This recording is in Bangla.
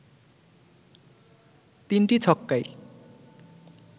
৩টি ছক্কায়